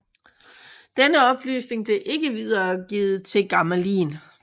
Denne oplysning blev ikke videregivet til Gamelin